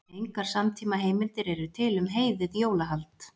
Engar samtímaheimildir eru til um heiðið jólahald.